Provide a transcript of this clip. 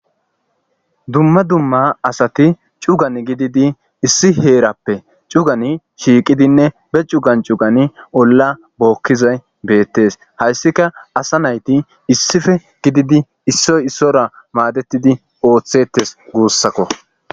Dumma dumma asatti cuugan gididi issi heerappe cuugan shiqiddinne be cuugan cuugan ba heeran olla bokkizay be'ettes. Hayssika asa naytti issippe gididi issoy issuwara madettidi otteththes guussakko.